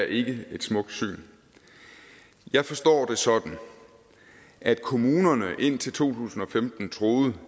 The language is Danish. ikke et smukt syn jeg forstår det sådan at kommunerne indtil to tusind og femten troede